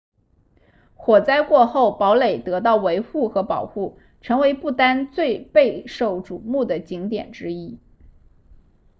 火灾过后堡垒得到维护和保护成为不丹最备受瞩目的景点之一